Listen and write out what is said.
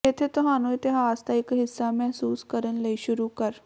ਇੱਥੇ ਤੁਹਾਨੂੰ ਇਤਿਹਾਸ ਦਾ ਇੱਕ ਹਿੱਸਾ ਮਹਿਸੂਸ ਕਰਨ ਲਈ ਸ਼ੁਰੂ ਕਰ